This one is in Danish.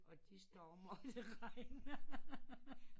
Og de står op når det regner